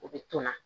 U bɛ tonna